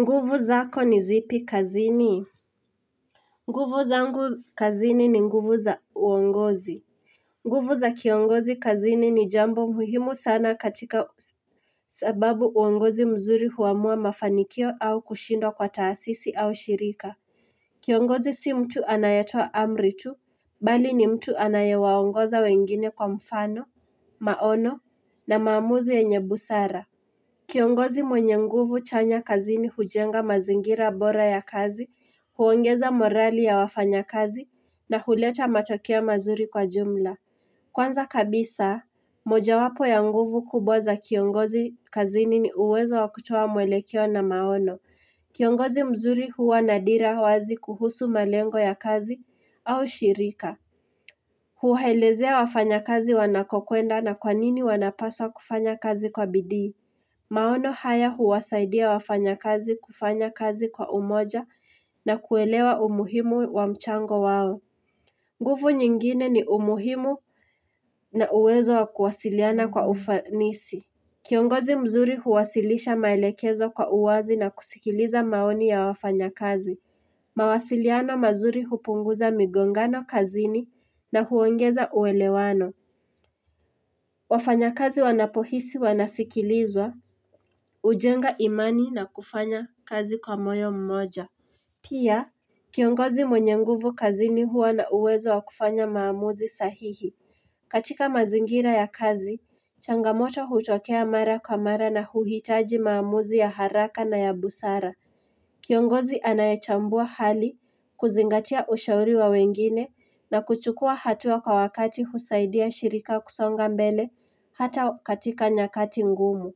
Nguvu zako ni zipi kazini nguvu zangu kazini ni nguvu za uongozi nguvu za kiongozi kazini ni jambo muhimu sana katika sababu uongozi mzuri huamua mafanikio au kushindwa kwa taasisi au shirika Kiongozi si mtu anayetoa amri tu Bali ni mtu anayewaongoza wengine kwa mfano maono na maamuzi yenye busara Kiongozi mwenye nguvu chanya kazini hujenga mazingira bora ya kazi, huongeza morali ya wafanya kazi na huleta matokeo mazuri kwa jumla. Kwanza kabisa, mojawapo ya nguvu kubwa za kiongozi kazini ni uwezo wa kutoa muelekeo na maono. Kiongozi mzuri huwa nadira wazi kuhusu malengo ya kazi au shirika. Huhelezea wafanya kazi wanakokuenda na kwanini wanapaswa kufanya kazi kwa bidii. Maono haya huwasaidia wafanya kazi kufanya kazi kwa umoja na kuelewa umuhimu wa mchango wao. Nguvu nyingine ni umuhimu na uwezo wa kuwasiliana kwa ufanisi. Kiongozi mzuri huwasilisha maelekezo kwa uwazi na kusikiliza maoni ya wafanya kazi. Mawasiliano mazuri hupunguza migongano kazini na huongeza uwelewano. Wafanya kazi wanapohisi wanasikilizwa. Ujenga imani na kufanya kazi kwa moyo mmoja Pia, kiongozi mwenye nguvu kazini huwa na uwezo wa kufanya maamuzi sahihi katika mazingira ya kazi, changamoto hutokea mara kwa mara na huhitaji maamuzi ya haraka na ya busara Kiongozi anayechambua hali kuzingatia ushauri wa wengine na kuchukua hatua kwa wakati husaidia shirika kusonga mbele hata katika nyakati ngumu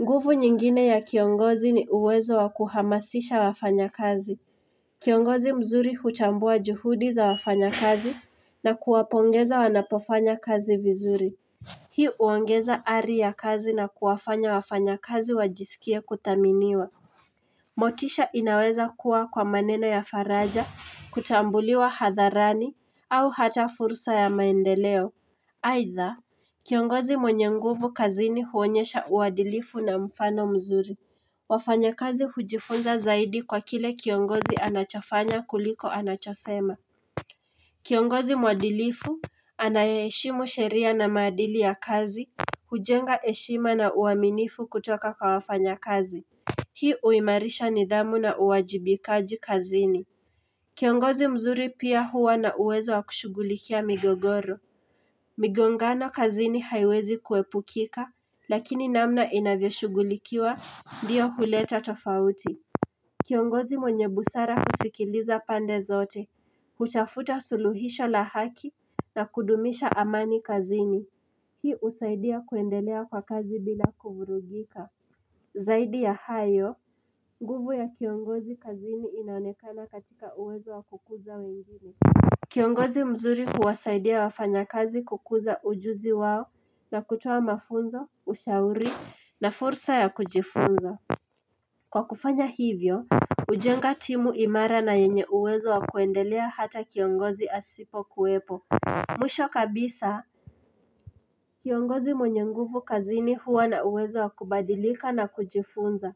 nguvu nyingine ya kiongozi ni uwezo wa kuhamasisha wafanya kazi. Kiongozi mzuri huchambua juhudi za wafanya kazi na kuwapongeza wanapofanya kazi vizuri. Hii huongeza ari ya kazi na kuwafanya wafanya kazi wajisikie kudhaminiwa. Motisha inaweza kuwa kwa maneno ya faraja, kutambuliwa hadharani, au hata furusa ya maendeleo. Aitha Kiongozi mwenye nguvu kazini huonyesha uadilifu na mfano mzuri wafanya kazi hujifunza zaidi kwa kile kiongozi anachofanya kuliko anachosema Kiongozi mwadilifu Anayeheshimu sheria na maadili ya kazi hujenga heshima na uwaminifu kutoka kwa wafanya kazi Hii uimarisha nidhamu na uwajibikaji kazini Kiongozi mzuri pia huwa na uwezo wa kushugulikia migogoro migongano kazini haiwezi kuepukika lakini namna inavyoshugulikiwa ndiyo huleta tofauti Kiongozi mwenye busara husikiliza pande zote hutafuta suluhisha la haki na kudumisha amani kazini Hii husaidia kuendelea kwa kazi bila kuvurugika Zaidi ya hayo nguvu ya kiongozi kazini inaonekana katika uwezo wa kukuza wengine Kiongozi mzuri huwasaidia wafanya kazi kukuza ujuzi wao na kutoa mafunzo, ushauri na fursa ya kujifunza Kwa kufanya hivyo, hujenga timu imara na yenye uwezo wa kuendelea hata kiongozi asipo kuwepo Mwisho kabisa Kiongozi mwenye nguvu kazini huwa na uwezo wa kubadilika na kujifunza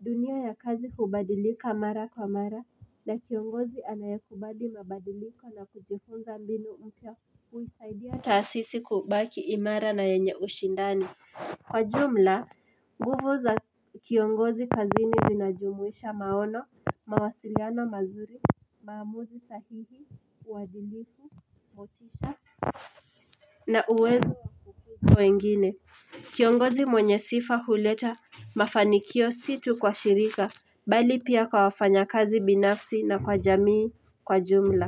dunia ya kazi kubadilika mara kwa mara na kiongozi anayakubali mabadiliko na kujifunza mbinu mpya huisaidia taasisi kubaki imara na yenye ushindani Kwa jumla, nguvu za kiongozi kazini zinajumuisha maono, mawasiliano mazuri, maamuzi sahihi, uadilifu, motisha na uwezi mwengine Kiongozi mwenye sifa huleta mafanikio situ kwa shirika Bali pia kwa wafanya kazi binafsi na kwa jamii kwa jumla.